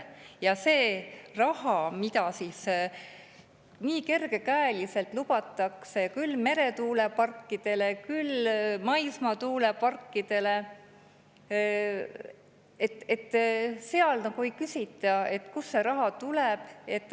Ja selle raha kohta, mida nii kergekäeliselt lubatakse küll meretuuleparkidele, küll maismaatuuleparkidele, nagu ei küsita, kust see tuleb.